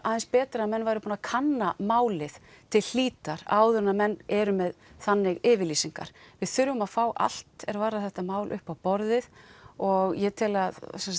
aðeins betra að menn væru búnir að kanna málið til hlítar áður en menn eru með þannig yfirlýsingar við þurfum að fá allt er varðar þetta mál upp á borðið og ég tel að